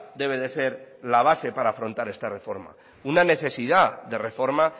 debe de ser la base para afrontar esta reforma una necesidad de reforma